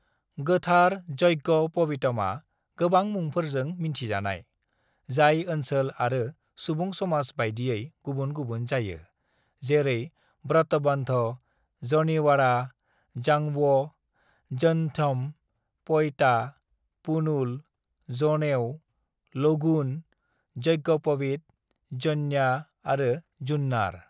"गोथार यज्ञ'पवीतमआ गोबां मुंफोरजों मिन्थि जायो, जाय ओनसोल आरो सुबुं समाज बायदियै गुबुन-गुबुन जायो, जेरै ब्रतबंध, जनिवारा, जांव, जंध्यम, प'इता, पुनुल, जनेऊ, लगुन, यज्ञ'पवीत, य'न्या आरो जुन्नार।"